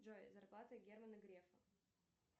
джой зарплата германа грефа